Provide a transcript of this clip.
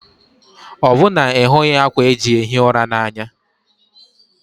Ọ́ bụ na ịhughị ákwà eji ehi ụra a n'anya?